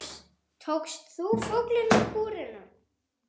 Tókst þú fuglinn úr búrinu?